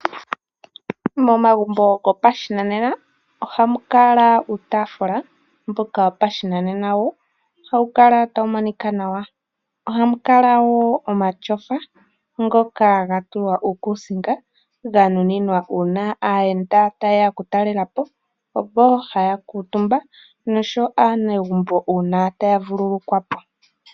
Momagumbo gopashinanena ohamukala iitafula yopashinanena nosho woo omatyofa ngoka haga kala gatulwa uukusinga noko matyofa ohakukutumbwa kaayenda nokaanegumbo ngele yahala okuvululukwa.